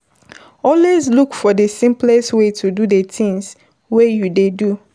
Always look for the simplest way to do the things wey you dey do